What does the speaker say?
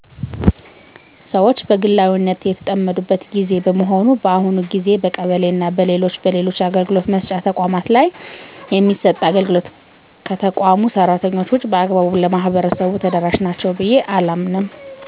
ሰወች በግላዊነት የተጠመዱበት ግዜ በመሆኑ በአሁኑ ግዜ በቀበሌና በሌሎች በሌሎች አገልግሎት መስጫ ተቋማት ላይ የሚሰጥ አገልግሎት ከተቋሙ ሰራተኞች ውጭ በአግባቡ ለማህበረሰቡ ተደረሻ ናቸው ብየ አላምንም።